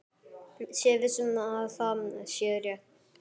Sé viss um að það sé rétt.